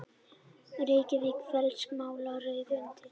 Reykjavík: Félagsmálaráðuneytið.